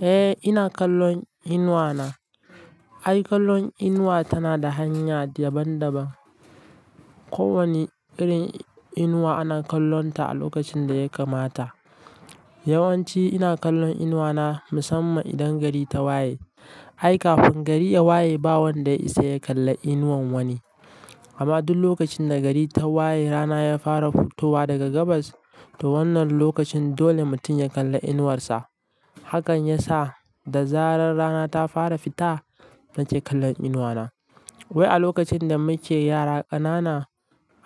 Eh, ina kallon inuwana. Ai, kallon inuwa tana da hanya daban-daban. Kowane irin inuwa ana kallonta a lokacin da ya kamata. Yawanci ina kallon inuwana musamman idan gari ta waye. Ai, kafin gari ya waye ba wanda ya isa ya kalli inuwan wani. Amma duk lokacin da gari ta waye, rana ya fara fitowa daga gabas, to wannan lokacin dole mutum ya kalla inuwarsa. Hakan ya sa da zarar rana ta fara fita, nake kallon inuwana. Wai a lokacin da muke yara ƙanana,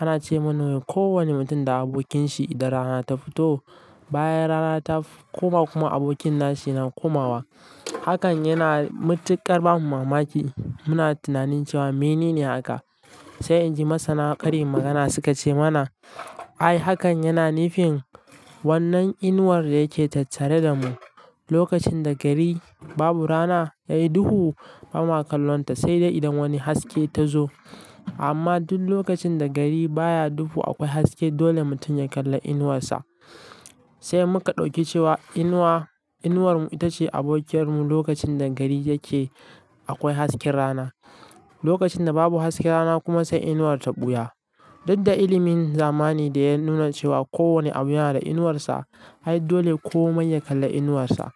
ana ce muna ko wane mutum da abokinsa idan rana ta fito, bayan rana ta koma kuma abokin nashi na komawa. Hakan yana mitikar ba mu mamaki, muna tunanin cewa mene ne haka. Sai inji masana ƙarin magana suka ce mana, ai hakan yana nufin wannan inuwar da yake tattare da mu. Lokacin da gari babu rana, yayi duhu ba ma kallonta, sai dai idan wani haske ta zo. Amma duk lokacin da gari baya duhu akwai haske, dole mutum ya kalla inuwarsa. Sai muka ɗauki cewa inuwa, inuwar mu ita ce abokiyar mu lokacin da gari yake akwai hasken rana. Lokacin da babu hasken rana kuma sai inuwar ta ɓuya. Duk da ilimin zamani da ya nuna cewa kowane abu yana da inuwarsa, ai dole komai ya kalla inuwarsa.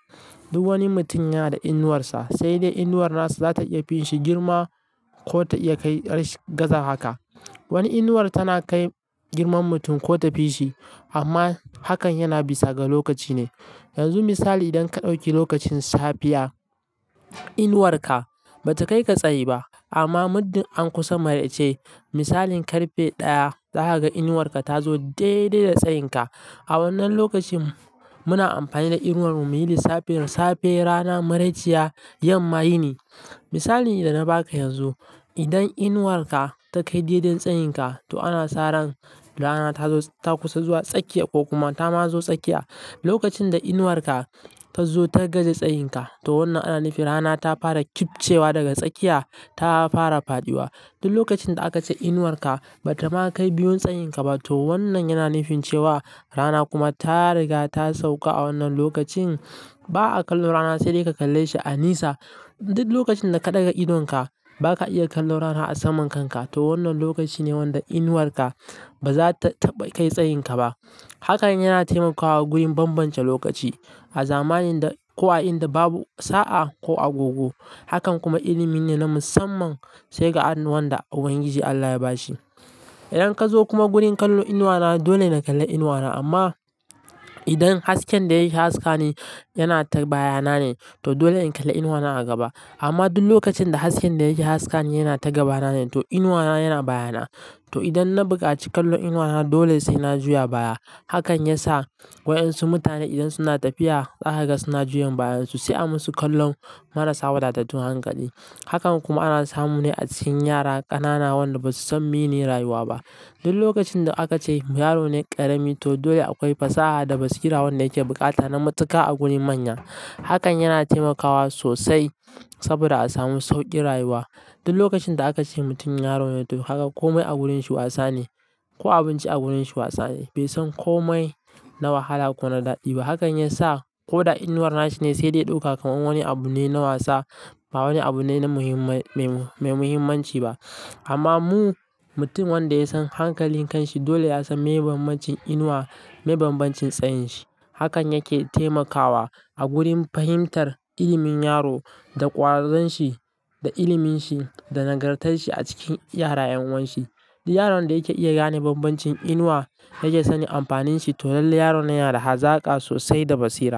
Duk wani mutum yana da inuwarsa, sai dai inuwar nasa za ta iya fin shi girma ko ta iya kai gaza haka. Wani inuwa tana kai girman mutum ko ta fi shi, amma hakan yana bisa ga lokaci ne. Yanzu misali idan ka ɗauki lokacin safiya, inuwarka ba ta kai ka tsayi ba. Amma muddin an kusa maraice, misalin ƙarfe ɗaya, za ka ga inuwarka ta zo daidai da tsayinka. A wannan lokacin muna amfani da inuwar mu muyi lissafin safe, rana maraiciya, yamma yini. Misalin idan na baka yanzu, idan inuwarka ta kai daidai tsayinka, to ana sa ran rana ta kusa zuwa tsakiya ko kuma ta ma zo tsakiya. Lokacin da inuwarka ta zo ta gaza tsayinka, to wannan ana nufi rana ta fara kifcewa daga tsakiya, ta fara faɗiwa. Duk lokacin da aka ce inuwarka bata ma kai biyun tsayinka ba, to wannan yana nufin cewa rana kuma ta riga ta sauka. A wannan lokacin ba'a kalla rana sai dai ka kalle shi a nisa. Duk lokacin da ka ɗaga idonka baka iya kallon rana a saman kanka, to wannan lokaci ne wanda inuwarka ba za ta kai tsayinka ba. Hakan yana taimakawa gurin bambance lokaci a zamanin da, kuwa in da babu sa'a ko agogo. Hakan kuma ilimi ne na musamman sai ga wa yan da Ubangiji Allah ya bashi. Idan ka zo kuma gurin kallo inuwana, dole na kalla inuwana. Amma idan hasken da ya haska ne yana ta bayana ne, to dole in kalla inuwana a gaba. Amma duk lokacin da hasken da yake haska ne yana ta gabana ne, to inuwana yana bayana. To idan na buƙaci kallon inuwana dole sai na juya baya. Hakan ya sa wa'yansu mutane idan suna tafiya za ka ga suna juyan bayansu, sai an musu kallon marasa wadatattun hankali. Hakan kuma ana samu ne a cikin yara ƙanana wanda basu san mene rayuwa ba. Duk lokacin da aka ce yaro ne ƙarami, to dole akwai fasaha da basira wanda yake buƙata na matuƙa a gurin manya. Hakan yana taimakawa sosai saboda a samu sauƙin rayuwa. Duk lokacin da aka ce mutum yaro ne, to haka kome a wurin shi wasa ne ko abinci a wurin shi wasa ne. Bai san kome na wahala ko na daɗi ba. Hakan ya sa ko da inuwar nashi ne sai dai ya ɗauka kamar wani abu ne na wasa, ba wani abu ne mai muhimmanci ba. Amma mu, mutum wanda ya san hankalin kanshi dole ya san me bambancin inuwa meye bambancin tsayin shi. Hakan yake taimakawa a gurin fahimtar ilimin yaro da ƙwazon shi da ilimin shi da nagartar shi a cikin yara 'yan wan shi. Yaron da yake iya gane bambancin inuwa yake sani amfanin shi, to lallai yaron yana da hazaka sosai da basira.